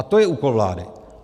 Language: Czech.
A to je úkol vlády.